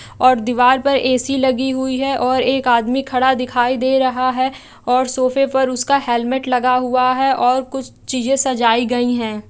और दीवार पर ए_सी लगी हुई है और एक आदमी खड़ा दिखाई दे रहा है और सोफे पे उसका हेलमेट लगा हुआ है और कुछ चीजे सजाई गई है।